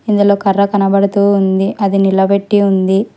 ఇందులో కర్ర కనబడుతూ ఉంది అది నిలబెట్టి ఉంది.